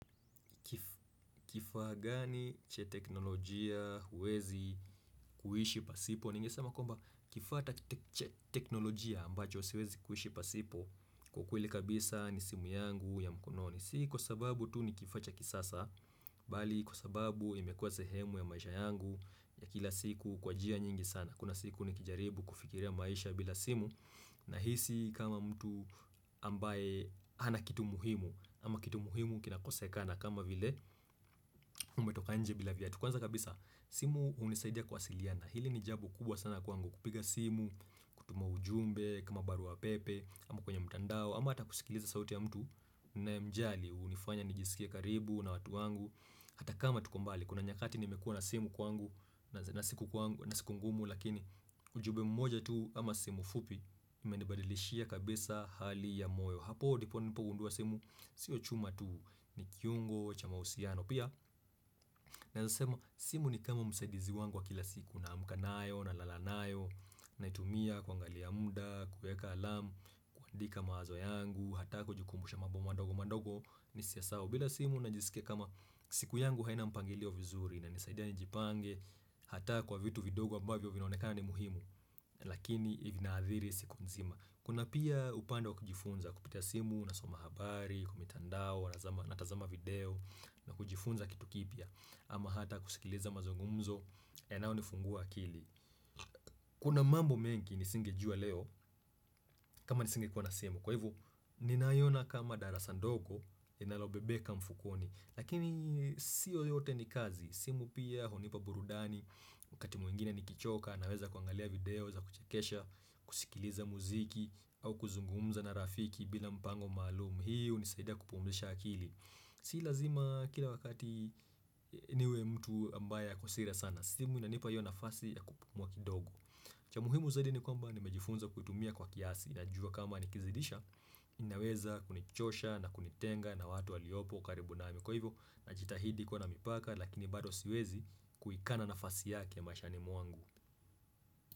Kifaa gani cha teknolojia uwezi kuishi pasipo? Ningesema kwamba kifaa ta tek cha teknolojia ambacho siwezi kuhishi pasipo kwa ukweli kabisa ni simu yangu ya mkononi. Si kwa sababu tu ni kifacha kisasa Bali kwa sababu imekuwa sehemu ya maisha yangu ya kila siku kwa jia nyingi sana. Kuna siku ni kijaribu kufikiria maisha bila simu Nahisi kama mtu ambaye hana kitu muhimu ama kitu muhimu kinakosekana kama vile umetoka nje bila vyatu, kwanza kabisa simu hunisaidia kwasiliana hili ni jabo kubwa sana kwangu kupiga simu kutuma ujumbe kama baruapepe ama kwenye mtandao ama hata kusikiliza sauti ya mtu nayemjali hunifanya nijisikie karibu na watu wangu hata kama tuko mbali kuna nyakati nimekuwa na simu kwangu na siku kwangu na siku ngumu lakini ujube mmoja tu ama simu fupi imenibadilishia kabisa hali ya moyo hapo dipo nilipogundua simu sio chuma tu nikiyungo cha mausiano pia naeza sema simu ni kama msaidizi wangu wa kila siku. Na amka nayo na lala nayo Naitumia kuangalia muda kueka alamu kuandika mawazo yangu. Hata kujukumbusha mabo madogo mandogo Nisiya sawa bila simu na jisikia kama siku yangu haina mpangilio vizuri. Inanisaidia ni jipange Hata kwa vitu vidogo ambavyo vinaonekana ni muhimu Lakini inaadhiri siku nzima. Kuna pia upande wa kujifunza Kupitia simu unasoma habari kwa mitandao wanazama natazama video na kujifunza kitu kipya ama hata kusikiliza mazungumzo yanao nifungua akili kuna mambo mengi nisingejua leo kama nisingekua na simu kwa hivo ninayona kama darasa ndogo inalobebeka mfukoni lakini siyo yote ni kazi simu pia hunipa burudani wakati mwingine ni kichoka naweza kuangalia video za kuchekesha kusikiliza muziki au kuzungumza na rafiki bila mpango maalum hii hunisaida kupumzisha akili. Si lazima kila wakati niwe mtu ambaye ako serious sana. Simu inanipa hiyo nafasi ya kupumua kidogo cha muhimu zaidi ni kwamba nimejifunza kutumia kwa kiasi. Najua kama nikizidisha inaweza kunichosha na kunitenga na watu waliopo karibu nami kwa hivyo, najitahidi kuwa na mipaka lakini bado siwezi kuikana nafasi yake ya mashani mwangu.